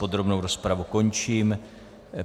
Podrobnou rozpravu končím.